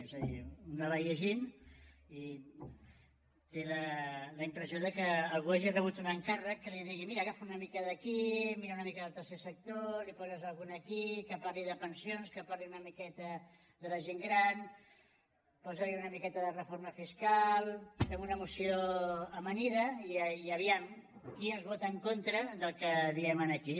és a dir un anava llegint i té la impressió que algú ha rebut un encàrrec que li digui mira agafa una mica d’aquí mira una mica del tercer sector li poses alguna cosa aquí que parli de pensions que parli una miqueta de la gent gran posa li una miqueta de reforma fiscal fem una moció amanida i a veure qui ens vota en contra del que diem aquí